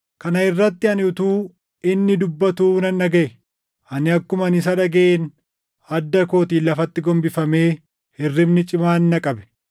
Kana irratti ani utuu inni dubbatuu nan dhagaʼe; ani akkuman isa dhagaʼeen adda kootiin lafatti gombifamee hirribni cimaan na qabe.